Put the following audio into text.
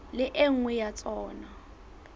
le e nngwe ya tsona